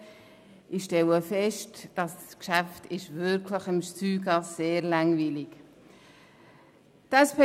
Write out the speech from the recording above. Ich stelle fest, dass das Geschäft offenbar sehr, sehr langweilig ist.